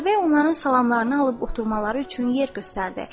Atabəy onların salamlarını alıb oturmaları üçün yer göstərdi.